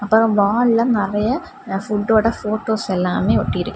அப்புறம் வால்ல நறைய ஃபுட்டோட போட்டோஸ் எல்லாமே ஒட்டி இருக்கு.